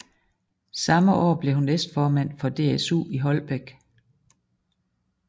Samme år blev hun næstformand for DSU i Holbæk